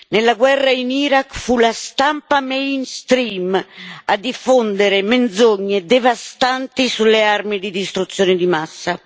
Nella guerra in Iraq fu la stampa mainstream a diffondere menzogne devastanti sulle armi di distruzione di massa.